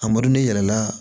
A yɛlɛla